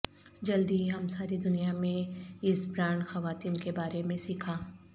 جلد ہی ہم ساری دنیا میں اس برانڈ خواتین کے بارے میں سیکھا